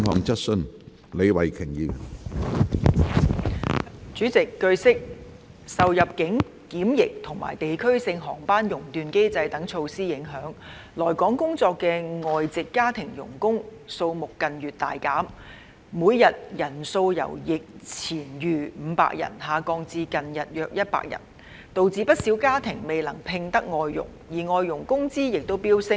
主席，據悉，受入境檢疫及地區性航班熔斷機制等措施的影響，來港工作的外籍家庭傭工數目近月大減，每日人數由疫前逾500人下降至近日約100人，導致不少家庭未能聘得外傭，而外傭工資亦飆升。